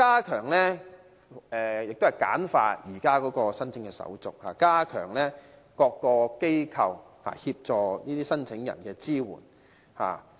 此外，亦要簡化現時的手續，加強各個機構協助申請人的支援。